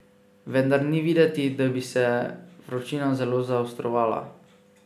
Vendar ni videti, da bi se vročina zelo zaostrovala.